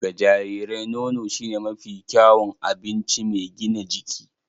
Ga jarirai, nono shine mafi kyawun abinci mai gina jiki